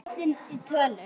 Lengstu fljótin í tölum